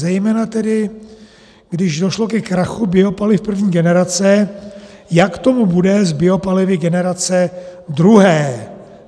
Zejména tedy když došlo ke krachu biopaliv první generace, jak tomu bude s biopalivy generace druhé.